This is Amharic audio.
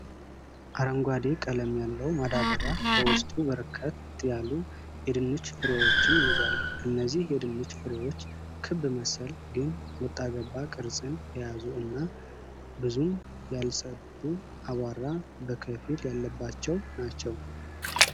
አረንጓዴ ቀለም ያለው ማዳበሪያ በዉስጡ በርከት ያሉ የድንች ፍረዎችን ይዟል። እነዚህ የድንች ፍሬዎች ክብ መሰል ግን ወጣ ገባ ቅርጽን የያዙ እና ብዙም ያልጸዱ አቧራ በከፊል ያለባቸው ናቸው።